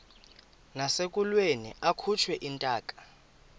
nasekulweni akhutshwe intaka